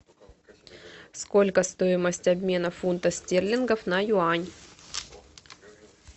сколько стоимость обмена фунта стерлингов на юань